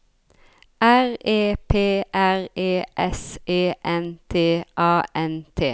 R E P R E S E N T A N T